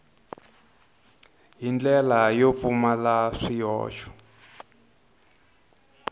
hi ndlela yo pfumala swihoxo